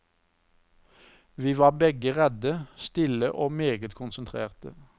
Vi var begge redde, stille og meget konsentrerte.